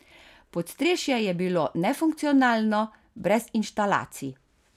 Podstrešje je bilo nefunkcionalno, brez inštalacij.